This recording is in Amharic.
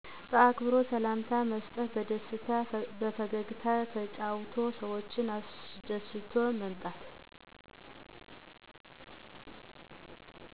በአክብሮ ሰላምታ መሰጠት በደስታ በፈገግታ ተጫውቶ ሰዎችን አሰደስቶ መምጣት።